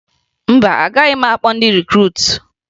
Mba, agaghị m akpọ ndị rikruutu